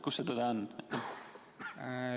Kus see tõde on?